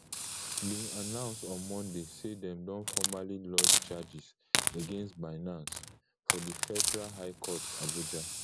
bin announce on monday say dem don formally lodge charges against binance for di federal high court abuja